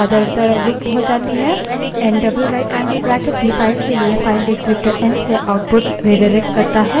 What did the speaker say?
N double rightangled bracket भी file के लिए file descriptor एन से output redirects करता है